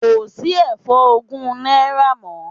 Kò sí ẹ̀fọ́ ogún náírà mọ́.